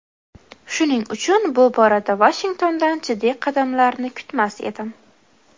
Shuning uchun bu borada Vashingtondan jiddiy qadamlarni kutmas edim.